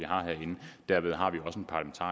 har herinde derved har vi